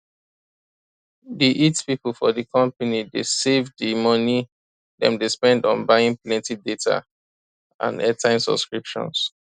di it people for di company dey save di money dem dey spend on buying plenty data and airtime subscriptions